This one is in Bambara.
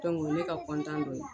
o ye ne ka dɔ ye